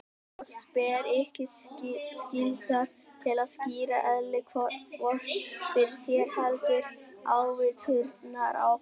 Oss ber ekki skylda til að skýra eðli Vort fyrir þér, héldu ávíturnar áfram.